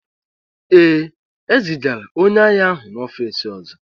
Ee, e zigara onye agha ahụ n'ọfịs ọzọ